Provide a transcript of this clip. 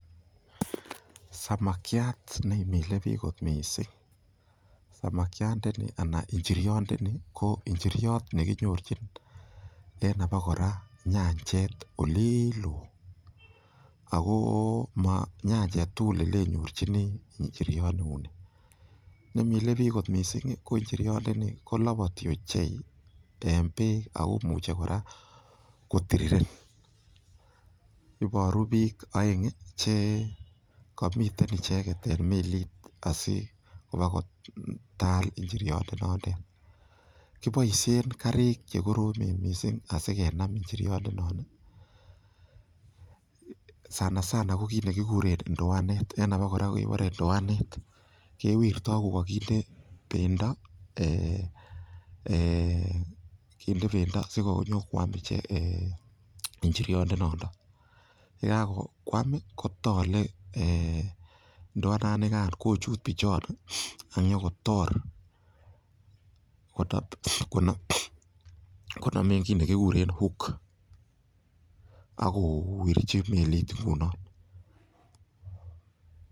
Samakiat neimilebik kot mising, samakiandani anan inchiriondoni ko nchiriot nekinyorchin en abokora nyanchet oliiloo, akoo manyanchet aketugul nenyorjini nchiriot neuni, nemile biik kot mising ko nchiriondoni koloboti ochei en beek akomuche kora kotiriren, iboru biik oeng chekomiten icheket en meliit asikobakotal inchiriondonotet, kiboishen karik chekoromen mising asikenam inchiriondonotet, sana sana ko kiit nekikuren indoanet, en abakora kekuren indoanet, kewirto kokokindee bendo eeh kindee bendo asikonyokwam inchiriondon, yekakwam kotole indoananikan kochuut bichon ak inyokotor konomen tukuk chekikuren hook akowirchi melit ingunon.